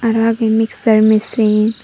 aro agey mixser mesin .